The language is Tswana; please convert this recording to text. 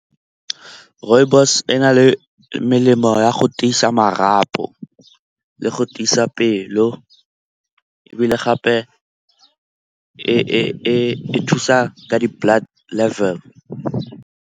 Rooibos e na le melemo ya go tiisa marapo le go tiisa pelo ebile gape e thusa ka di-blood level.